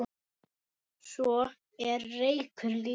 Svo er reykur líka.